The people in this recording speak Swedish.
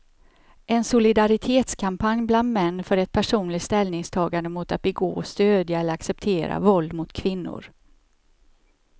En solidaritetskampanj bland män för ett personligt ställningstagande mot att begå, stödja eller acceptera våld mot kvinnor.